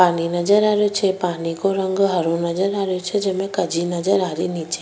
पानी नजर आ रहे छे पानी को रंग हरो नजर आ रेहो छे जेमे कजी नजर आ री नीचे।